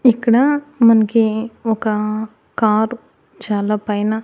ఇక్కడ మనకి ఒక కారు చాలా పైన.